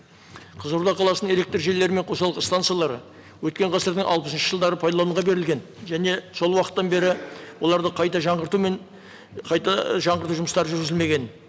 қызылорда қаласының электржүйелері мен қосалқы станциялары өткен ғасырдың алпысыншы жылдары пайдалануға берілген және сол уақыттан бері оларды қайта жаңғырту мен қайта жаңғырту жұмыстары жүргізілмеген